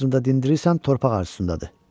Hamısını da dindirirsən, torpaq arxasındadır.